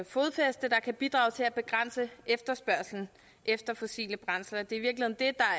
fodfæste der kan bidrage til at begrænse efterspørgslen efter fossile brændsler det